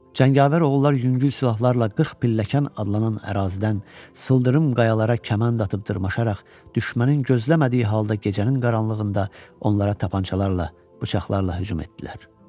Cəngavər oğullar yüngül silahlarla 40 pilləkən adlanan ərazidən sıldırım qayalara kaman atıb dırmaşaraq düşmənin gözləmədiyi halda gecənin qaranlığında onlara tapancalarla, bıçaqlarla hücum etdilər.